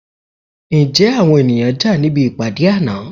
Ǹjẹ́ àwọn ènìyàn jà níbi ìpàdé àná?